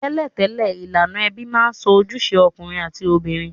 Tẹ́lẹ̀tẹ́lẹ̀, ilànà ebí ma n so ojúse okùnrin àti obìnrin